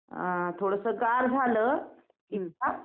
अ थोडंसं गार झालं की